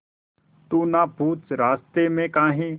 तू ना पूछ रास्तें में काहे